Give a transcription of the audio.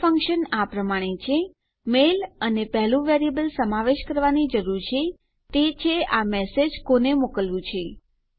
mail function આ પ્રમાણે છે મેલ અને પહેલું વેરીએબલ સમાવેશ કરવાની જરૂર છે તે છે આ મેસેજ કોને મોકલવું છે